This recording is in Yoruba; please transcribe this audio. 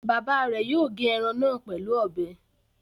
Bàbá rẹ̀ yóò gé ẹran náà pẹ̀lú ọbẹ.